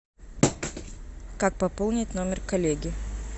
как пополнить номер коллеги